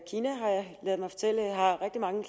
mange